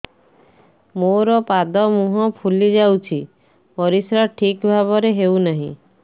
ମୋର ପାଦ ମୁହଁ ଫୁଲି ଯାଉଛି ପରିସ୍ରା ଠିକ୍ ଭାବରେ ହେଉନାହିଁ